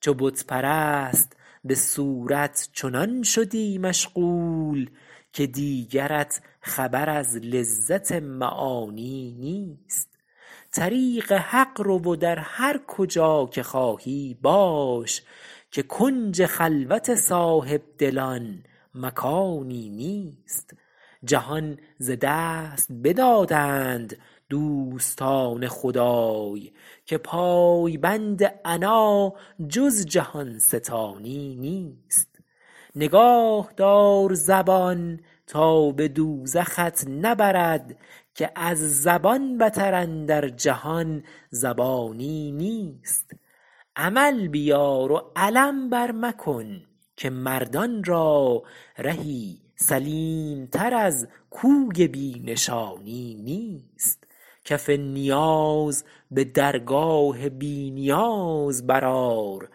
چو بت پرست به صورت چنان شدی مشغول که دیگرت خبر از لذت معانی نیست طریق حق رو و در هر کجا که خواهی باش که کنج خلوت صاحبدلان مکانی نیست جهان ز دست بدادند دوستان خدای که پایبند عنا جز جهان ستانی نیست نگاه دار زبان تا به دوزخت نبرد که از زبان بتر اندر جهان زیانی نیست عمل بیار و علم بر مکن که مردان را رهی سلیم تر از کوی بی نشانی نیست کف نیاز به درگاه بی نیاز برآر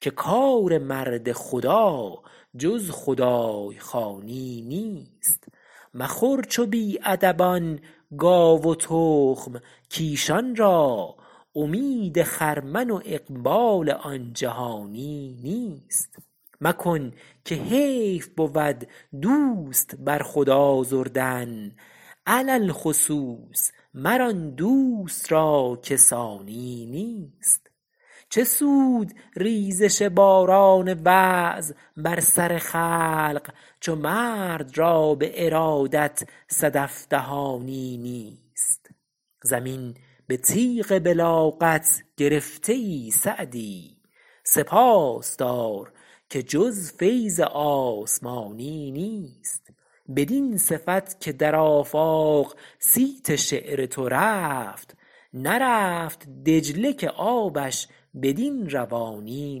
که کار مرد خدا جز خدای خوانی نیست مخور چو بی ادبان گاو و تخم کایشان را امید خرمن و اقبال آن جهانی نیست مکن که حیف بود دوست بر خود آزردن علی الخصوص مر آن دوست را که ثانی نیست چه سود ریزش باران وعظ بر سر خلق چو مرد را به ارادت صدف دهانی نیست زمین به تیغ بلاغت گرفته ای سعدی سپاس دار که جز فیض آسمانی نیست بدین صفت که در آفاق صیت شعر تو رفت نرفت دجله که آبش بدین روانی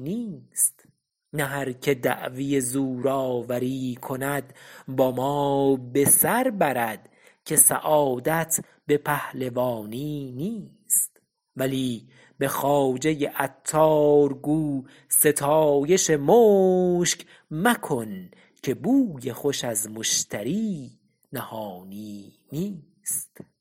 نیست نه هر که دعوی زورآوری کند با ما به سر برد که سعادت به پهلوانی نیست ولی به خواجه عطار گو ستایش مشک مکن که بوی خوش از مشتری نهانی نیست